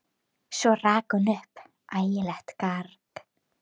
Svo rak hún upp ægilegt garg.